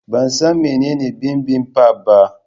Ban san menene bibimbap ba.